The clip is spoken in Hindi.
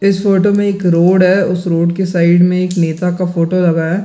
इस फोटो में एक रोड है उस रोड के साइड में एक नेता का फोटो लगा है ।